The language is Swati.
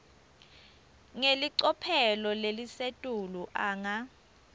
ngelicophelo lelisetulu anga